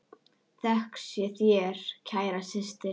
Þökk sé þér, kæra systir.